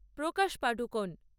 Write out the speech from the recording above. Prakash Padukone